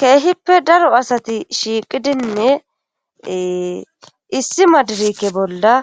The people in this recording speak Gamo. keehippe daro asati shiiqidinne issi madirikke bolla